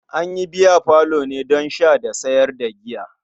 An yi biyafalo ne don sha da sayar da giya.